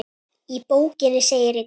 Í bókinni segir einnig